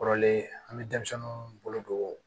Kɔrɔlen an bɛ denmisɛnninw bolo don